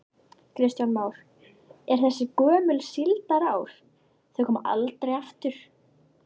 Kristján Már: En þessi gömlu síldarár, þau koma aldrei aftur?